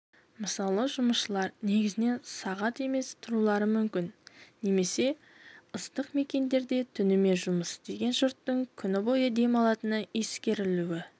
мысалы жұмысшылар негізінен сағат емес тұрулары мүмкін немесе ыстық мекендерде түнімен жұмыс істеген жұрттың күні бойы демалатыны ескерілуі